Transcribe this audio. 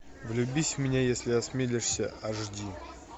влюбись в меня если осмелишься аш ди